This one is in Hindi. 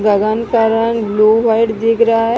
गगन का रंग ब्लू व्हाइट दिख रहा है।